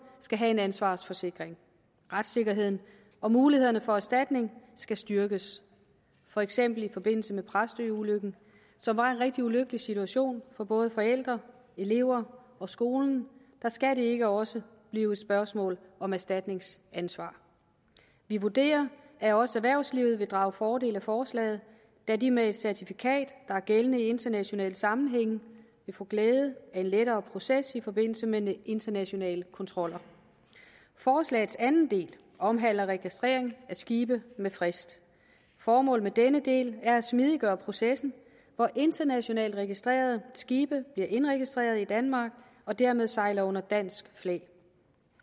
skal have en ansvarsforsikring retssikkerheden og mulighederne for erstatning skal styrkes for eksempel i forbindelse med præstøulykken som var en rigtig ulykkelig situation for både forældrene eleverne og skolen der skal det ikke også blive et spørgsmål om erstatningsansvar vi vurderer at også erhvervslivet vil drage fordel af forslaget da de med et certifikat der er gældende i internationale sammenhænge vil få glæde af en lettere proces i forbindelse med internationale kontroller forslagets anden del omhandler registrering af skibe med frist formålet med denne del er at smidiggøre processen hvor internationalt registrerede skibe bliver indregistreret i danmark og dermed sejler under dansk flag